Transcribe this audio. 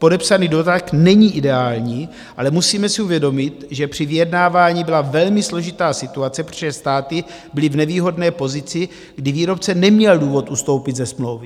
Podepsaný dodatek není ideální, ale musíme si uvědomit, že při vyjednávání byla velmi složitá situace, protože státy byly v nevýhodné pozici, kdy výrobce neměl důvod ustoupit ze smlouvy.